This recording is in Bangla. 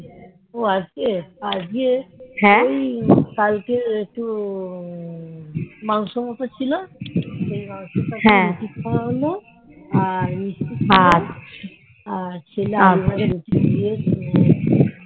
ওই কালকের একটু মাংস মতো ছিল সেই মাংস তা দিয়ে রুটি খাওয়া হলো আর মিষ্টি ছিল আর ছিল আলু ভাজা রুটি দিয়ে দিয়ে খাওয়া হলো